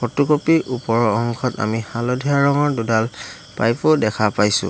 Photo copy ত ওপৰৰ অংশত আমি হালধীয়া ৰঙৰ দুডাল পাইপ ও দেখা পাইছোঁ।